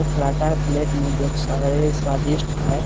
पराठा है प्लेट में जो स्वादिष्ट हैं।